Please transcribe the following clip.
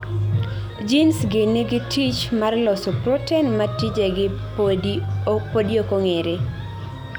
Genes gi nigi tich mar loso protein ma tijegi podi okong'ere